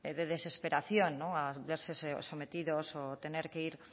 de desesperación al verse sometidos o tener que